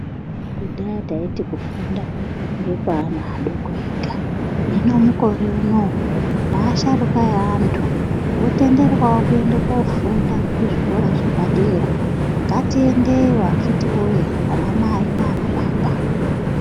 Kudhaya taiti kufunda ngekwe ana aadoko ega hino mukore uno neasharuka eantu otenderwawo kuende kofunda kuzvikora zvepadera, ngatienedeyo akiti woye anamai naanababa.